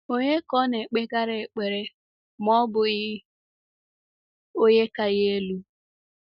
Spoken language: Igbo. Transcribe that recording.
Ònye ka ọ naekpegara ekpere ma ọ bụghị Onye ka ya elu?